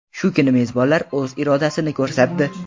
Shu kuni mezbonlar o‘z irodasini ko‘rsatdi.